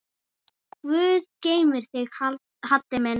Guð geymi þig, Haddi minn.